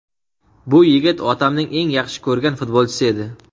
Bu yigit otamning eng yaxshi ko‘rgan futbolchisi edi.